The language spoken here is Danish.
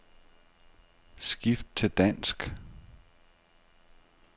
Skift til dansk.